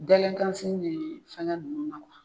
Dalenkan fini me fɛngɛ nunnu na